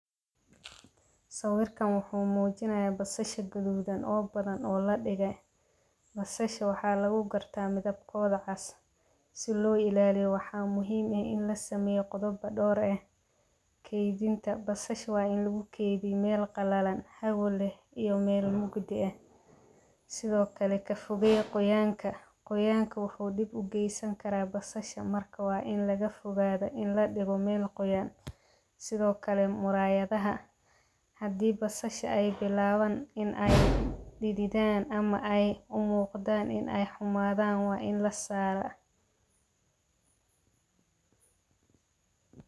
Sawirkan wuxuu muujinaya basasha gaduudan oo badan oo ladhigey. Basasha waxa lagu garta midabkooda cas si loo ilaaliyo waxaa muhiim eh in lasameeyo qodoba dhowr eh keydinta basasha waa in lagu keydiyaa meel qalalan hawo leh iyo meel mugdi eh, sido kale ka fogeey qoyaanka qoyaanka wuxuu dhib ugeysan karaa basasha marka waa in laga fogaado in ladhigo meel qoyan sido kale muraayadaha hadii ay basasha bilaaban in ay dhididan ama ay umuuqdan in ay xumaadan waa in lasaara.